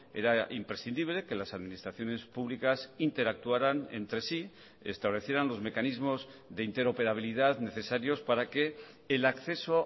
era imprescindible que las administraciones públicas interactuaran entre sí establecieran los mecanismos de interoperabilidad necesarios para que el acceso